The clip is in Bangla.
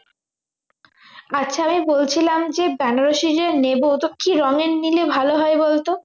আচ্ছা আমি বলছিলাম যে বেনারসি যে নেব তো কি রঙের নিলে ভালো হয় বলত